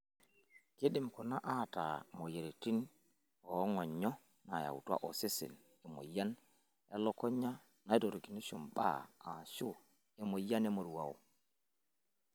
Keidim kuna ataa moyiaritin oong'onyo yaatua osesen, emoyian elukunya naitorikinisho mbaa ashu emoyian emoruao.